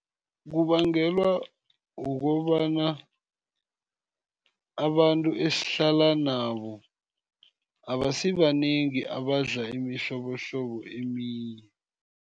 Kubangelwa kukobana abantu esihlala nabo, abasibanengi abadla imihlobohlobo eminye.